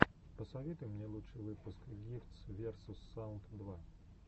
посоветуй мне лучший выпуск гифтс версус саунд два